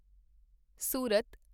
ਸੂਰਤ